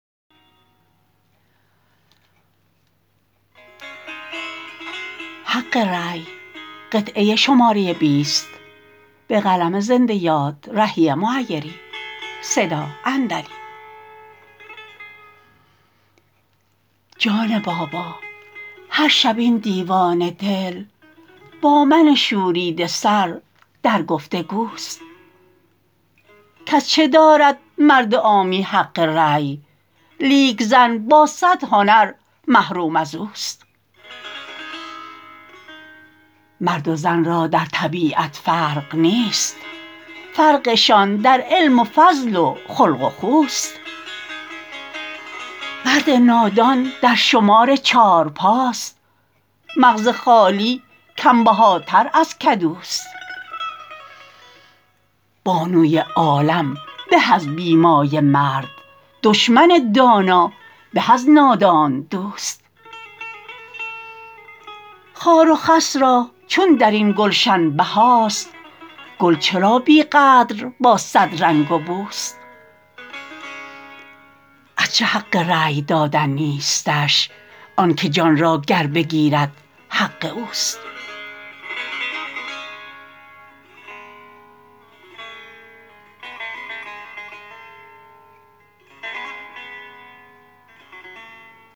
جان بابا هرشب این دیوانه دل با من شوریده سر در گفت وگوست کز چه دارد مرد عامی حق رأی لیک زن با صد هنر محروم از اوست مرد و زن را در طبیعت فرق نیست فرقشان در علم و فضل و خلق و خوست مرد نادان در شمار چارپاست مغز خالی کم بهاتر از کدوست بانوی عالم به از بی مایه مرد دشمن دانا به از نادان دوست خار و خس را چون در این گلشن بهاست گل چرا بی قدر با صد رنگ و بوست از چه حق رأی دادن نیستش آن که جان را گر بگیرد حق اوست